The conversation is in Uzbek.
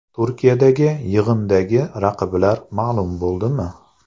Turkiyadagi yig‘indagi raqiblar ma’lum bo‘ldimi?